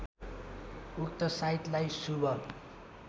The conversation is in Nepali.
उक्त साइतलाई शुभ